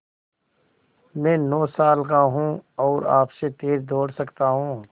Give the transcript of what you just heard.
मैं नौ साल का हूँ और आपसे तेज़ दौड़ सकता हूँ